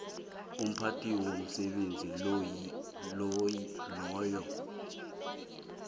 umphathi womsebenzi loyo